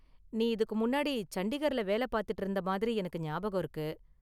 நீ இதுக்கு முன்னாடி சண்டிகர்ல வேலை பார்த்துட்டு இருந்த மாதிரி எனக்கு ஞாபகம் இருக்கு.